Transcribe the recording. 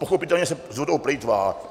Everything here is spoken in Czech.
Pochopitelně se s vodou plýtvá.